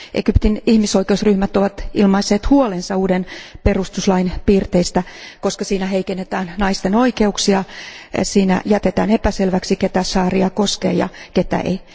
Egyptin ihmisoikeusryhmät ovat ilmaisseet huolensa uuden perutuslain piirteistä, koska siinä heikennetään naisten oikeuksia, siinä jätetään epäselväksi, ketä šaria koskee ja ketä ei.